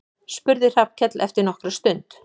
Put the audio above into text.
spurði Hallkell eftir nokkra stund.